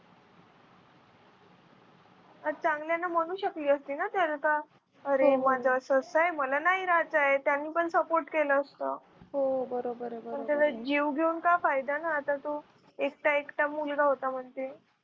चांगला आहे ना म्हणू शकले असते ना त्याला अरे माझ असं असं आहे मला नाही राहायचं आहे त्यांनी पण support केला असतं पण त्याचा जीव घेऊन काय फायदा ना आता तो एकटा एकटा मुलगा होता म्हणजे